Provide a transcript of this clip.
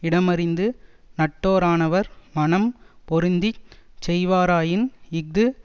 இடமறிந்து நட்டோரானவர் மனம் பொருந்தி செய்வாராயின் இஃது